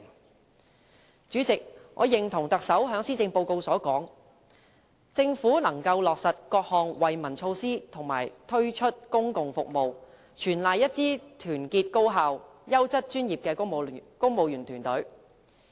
代理主席，我認同特首在施政報告提出："政府能夠落實各項惠民措施和推出公共服務，全賴一支團結高效、優質專業的公務員隊伍。